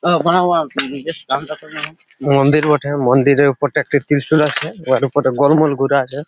মন্দির বটে মন্দিরের উপরে একটা ত্রিশুল আছে ওর উপরে গোলমল ঘুরা আছে ।